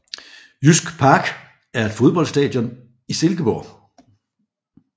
Jysk Park er et fodboldstadion i Silkeborg